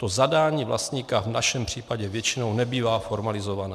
To zadání vlastníka v našem případě většinou nebývá formalizované.